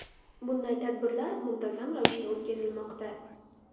Bunday tadbirlar muntazam ravishda o‘tkazilmoqda.